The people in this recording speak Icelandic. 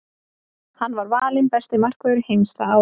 Hann var valinn besti markvörður heims það árið.